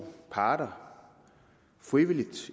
parter frivilligt